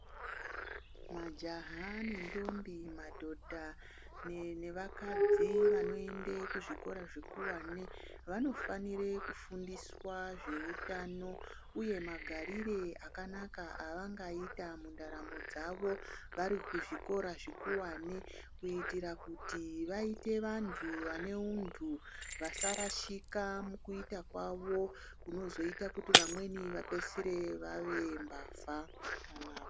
Majaha nendombi, madhodha nevakadzi vanoenda kuzvikora zvikuwane, vanofanire kufundiswe zveutano uye magarire akanaka evangaita mundaramo dzavo vari kuzvikora zvikuwane, kuitira kuti vaite vantu vane untu vasarashika mukuita kwavo kunozoita kuti vamweni vapeisire vave mbavha kana...